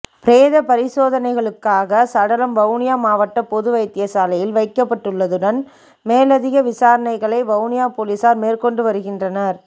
பிரேத பரிசோதனைகளுக்காக சடலம் வவுனியா மாவட்ட பொது வைத்தியசாலையில் வைக்கப்பட்டுள்ளதுடன் மேலதிக விசாரணைகளை வவுனியா பொலிஸார் மேற்கொண்டு வருகின்றனர்